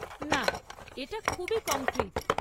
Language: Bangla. না, এটা খুবই কংক্রিট।